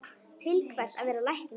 Til hvers að vera læknir?